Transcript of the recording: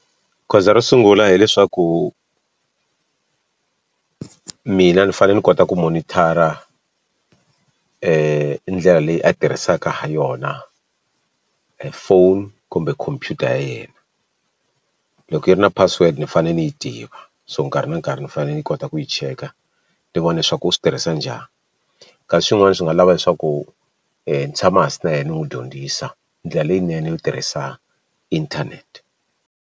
Goza ro sungula hileswaku mina ni fanele ni kota ku monitor-a ndlela leyi a tirhisaka ha yona phone kumbe khompyuta ya yena loko yi ri na password ni fanele ni yi tiva so nkarhi na nkarhi ni fanele ni yi kota ku yi cheka ni vona leswaku u swi tirhisa njhani kasi swin'wana swi nga lava leswaku ni tshama hansi na yena ni n'wi dyondzisa ndlela leyinene yo tirhisa inthanete.